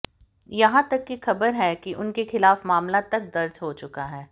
यहां तक की खबर है कि उनके खिलाफ मामला तक दर्ज हो चुका है